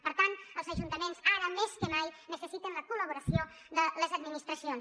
per tant els ajuntaments ara més que mai necessiten la col·laboració de les administracions